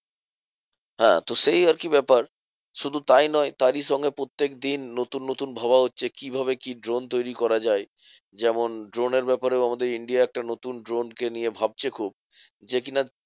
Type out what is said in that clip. হ্যাঁ তো সেই আরকি ব্যাপার। শুধু তাই নয় তারই সঙ্গে প্রত্যেকদিন নতুন নতুন ভাবা হচ্ছে, কিভাবে কি drone করা যায়? যেমন drone এর ব্যাপারে আমাদের India একটা নতুন drone কে নিয়ে ভাবছে খুব। যে কি না